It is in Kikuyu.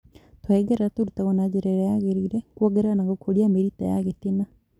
Tũhengereta türutagwo na njĩra ĩrĩa yagĩrĩire kwongerera na gũkũria mĩrita ya gĩtina